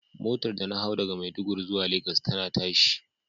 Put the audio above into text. Motar da na hau daga Maiduguri zuwa lagos tana tashi.